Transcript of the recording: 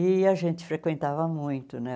E a gente frequentava muito, né?